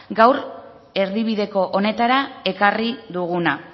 gaur erdibideko honetara ekarri duguna